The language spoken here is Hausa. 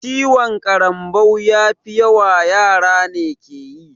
Ciwon ƙarambau mafi yawa yara ne keyi